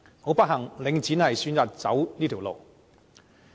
很不幸，領展選擇走上這條路。